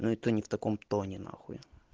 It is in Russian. но и то не в таком тоне нахуй